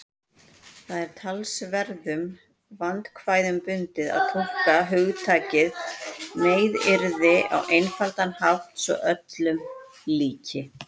Það er talsverðum vandkvæðum bundið að túlka hugtakið meiðyrði á einfaldan hátt svo öllum líki.